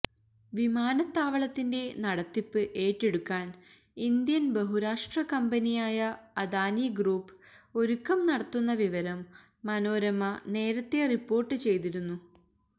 വിമാനത്താവളത്തിന്റെ നടത്തിപ്പ് ഏറ്റെടുക്കാൻ ഇന്ത്യൻ ബഹുരാഷ്ട്രകമ്പനിയായ അദാനി ഗ്രൂപ്പ് ഒരുക്കം നടത്തുന്ന വിവരം മനോരമ നേരത്തെ റിപ്പോർട്ട് ചെയ്തിരുന്നു